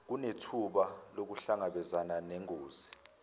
kunethuba lokuhlangabezana nengozi